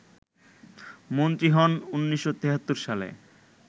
মন্ত্রী হন ১৯৭৩ সালে